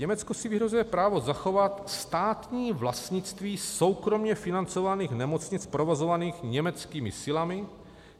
Německo si vyhrazuje právo zachovat státní vlastnictví soukromě financovaných nemocnic provozovaných německými silami.